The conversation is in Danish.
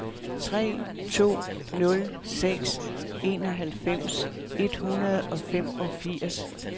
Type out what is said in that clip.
tre to nul seks enoghalvfems et hundrede og femogfirs